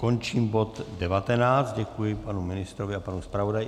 Končím bod 19, děkuji panu ministru a panu zpravodaji.